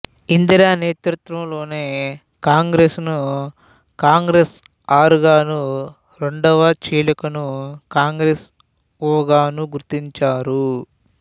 ఇందిర నేతృత్వంలోని కాంగ్రెస్ ను కాంగ్రెస్ ఆర్ గాను రెండవ చీలికను కాంగ్రెస్ ఓ గాను గుర్తించారు